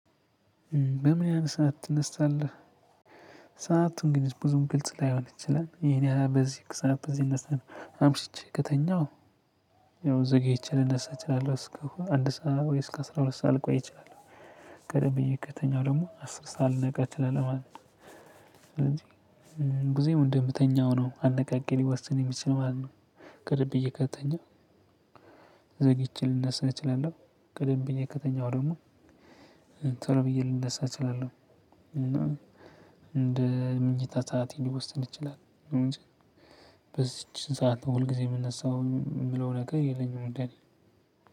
በምን ያህል ሰዓት ትነሳለህ? ሰአቱን ግን ብዙም ግልጽ ላይሆን ይችላል። ይሄን ያህል በዚህ እኮ ሰዓት እዚህ እዚህ አምሽቼ ከተኛው ያው ዘግይቼ ልነሳ እችላለሁ። እስከ አንድ ሰዓት ወይ እስከ አስራ ሁለት ሰዓት ልቆይ እችላለሁ። ቀደም ብዬ ከተኛው ደግሞ አስር ሰዓት ልነቃ እችላለህ ማለት ነው እንጂ። ብዙም እንደምተኛው ነው አነቃቂ ሊወስን የሚችለው ማለት ነው። ከልብ እየቀጠኘ ዘግይቼ ልነሳች እችላለሁ ቀደም ብዬ ከተኛው ደግሞ ቶሎ ብዬ ልነሳ እችላለሁ እና እንደ ምኝታ ሰዓቴ ሊወስን ይችላል እንጂ። በዚች ሰዓት ነው ሁል ጊዜ የምነሳው የምለው ነገር የለኝም እንደነ